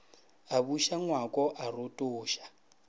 a buša ngwako a rotoša